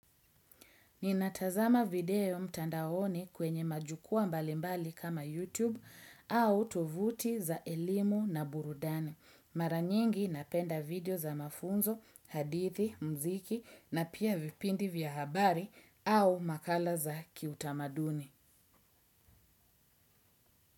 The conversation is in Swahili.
Ninatazama video mtandaoni kwenye majukuwaa mbalimbali kama YouTube au tovuti za elimu na burudani. Maranyingi napenda video za mafunzo, hadithi, mziki na pia vipindi vya habari au makala za kiutamaduni.